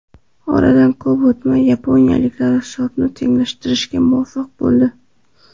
Oradan ko‘p o‘tmay yaponiyaliklar hisobni tenglashtirishga muvaffaq bo‘ldi.